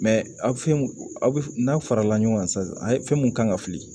aw fɛnw aw bɛ n'a farala ɲɔgɔn kan sisan a fɛn mun kan ka fili